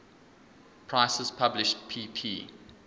prices published pp